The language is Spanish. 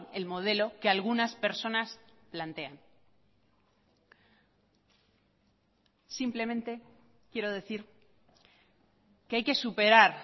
el modelo que algunas personas plantean simplemente quiero decir que hay que superar